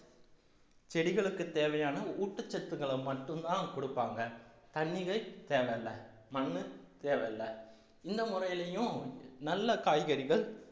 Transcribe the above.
செடிகளுக்கு தேவையான ஊட்டச்சத்துக்களை மட்டும்தான் கொடுப்பாங்க தண்ணிகள் தேவையில்ல மண்ணு தேவையில்ல இந்த முறையிலேயும் நல்ல காய்கறிகள்